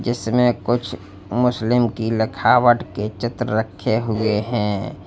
जिसमें कुछ मुस्लिम की लिखावट के चित्र रखे हुए हैं।